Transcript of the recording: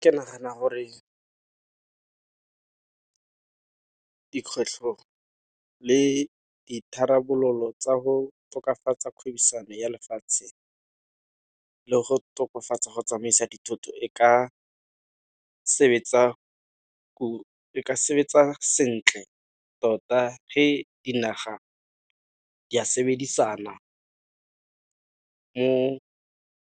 Ke nagana gore dikgwetlho le ditharabololo tsa go tokafatsa kgwebisano ya lefatshe le go tokafatsa go tsamaisa dithoto e ka sebetsa sentle tota fa dinaga di a sebedisana ko